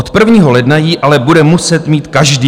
Od 1. ledna ji ale bude muset mít každý.